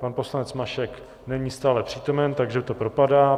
Pan poslanec Mašek není stále přítomen, takže to propadá.